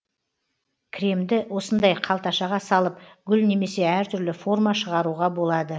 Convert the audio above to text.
кремді осындай қалташаға салып гүл немесе әртүрлі форма шығаруға болады